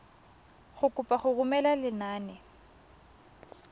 go kopa go romela lenane